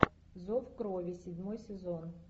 зов крови седьмой сезон